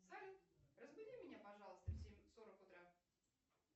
салют разбуди меня пожалуйста в семь сорок утра